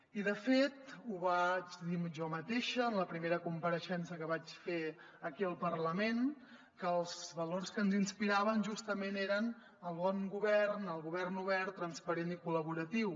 i de fet ho vaig dir jo mateixa en la primera compareixença que vaig fer aquí al parlament que els valors que ens inspiraven justament eren el bon govern el govern obert transparent i col·laboratiu